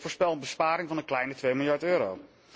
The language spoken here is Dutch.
Ik voorspel een besparing van een kleine twee miljard euro.